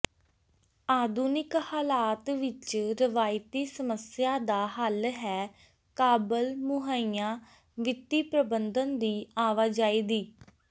ਆਧੁਨਿਕ ਹਾਲਾਤ ਵਿੱਚ ਰਵਾਇਤੀ ਸਮੱਸਿਆ ਦਾ ਹੱਲ ਹੈ ਕਾਬਲ ਮੁਹੱਈਆ ਵਿੱਤੀ ਪ੍ਰਬੰਧਨ ਦੀ ਆਵਾਜਾਈ ਦੀ